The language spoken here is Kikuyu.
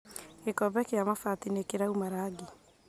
Gĩkombe kĩa mabati nĩkĩrauma rangi